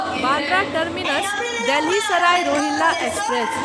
Bandra terminus Delhi Sarai Rohilla express